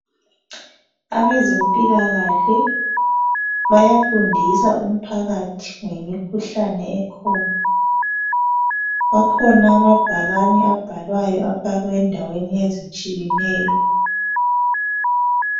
Abezempilakahle bayafundisa umphakathi ngemikhuhlane ekhona. Akhona amabhakane abhalwayo afakwe endaweni ezitshiyeneyo.